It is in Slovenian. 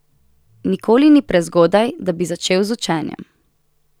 Nikoli ni prezgodaj, da bi začel z učenjem.